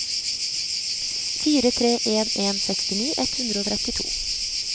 fire tre en en sekstini ett hundre og trettito